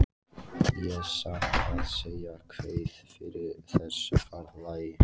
Ég satt að segja kveið fyrir þessu ferðalagi.